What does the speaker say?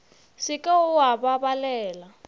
se ke wa ba balela